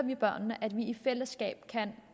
børnene at vi i fællesskab kan